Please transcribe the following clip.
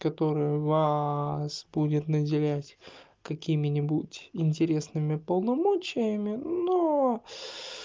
которая вас будет наделять какими-нибудь интересными полномочиями но